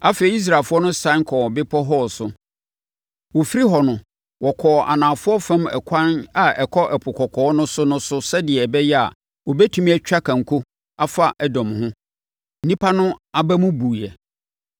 Afei, Israelfoɔ no sane kɔɔ Bepɔ Hor so. Wɔfiri hɔ no, wɔkɔɔ anafoɔ fam ɛkwan a ɛkɔ Ɛpo Kɔkɔɔ no so no so sɛdeɛ ɛbɛyɛ a, wɔbɛtumi atwa kanko afa Edom ho. Nnipa no aba mu buiɛ.